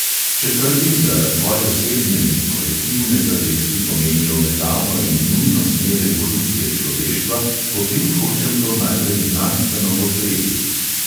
Če trdim, da razvoj osebne in kolektivne zavesti pomeni obetavno in nujno smer evolucije človeštva, potem hočem to najprej znanstveno podpreti.